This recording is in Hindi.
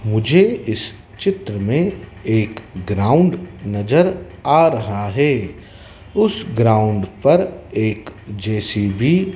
मुझे इस चित्र में ग्राउंड नजर आ रहा है उस ग्राउंड पर एक जे_सी_बी --